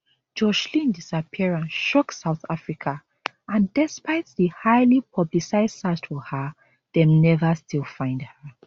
joshlin disappearance shock south africa and despite di highly publicised search for her dem never still find her